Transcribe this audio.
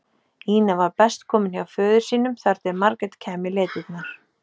Ína var best komin hjá föður sínum þar til Margrét kæmi í leitirnar.